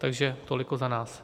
Takže tolik za nás.